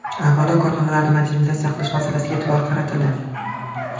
Avvalo, korxonalarni modernizatsiya qilish masalasiga e’tibor qaratildi.